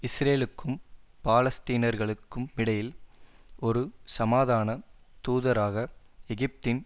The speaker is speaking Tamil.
இஸ்ரேலுக்கும் பாலஸ்தீனர்களுக்கும் இடையில் ஒரு சமாதான தூதராக எகிப்தின்